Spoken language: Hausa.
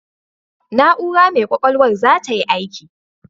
Na'ura mai ƙwaƙwalwar za tayi aiki.